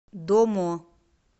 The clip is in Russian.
домо